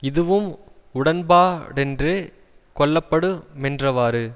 இதுவும் உடன்பாடென்று கொள்ளப்படுமென்றவாறு